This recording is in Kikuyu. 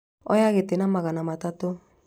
Oya gĩtĩ na magana matatũ